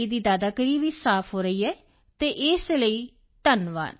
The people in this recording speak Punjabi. ਦੀ ਦਾਦਾਗਿਰੀ ਵੀ ਸਾਫ਼ ਹੋ ਰਹੀ ਹੈ ਤਾਂ ਇਸ ਦੇ ਲਈ ਧੰਨਵਾਦ